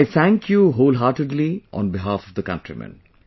I thank you wholeheartedly on behalf of the countrymen